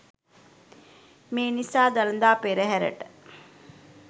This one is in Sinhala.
මේ නිසා දළදා පෙරහරට